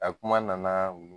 A kuma nana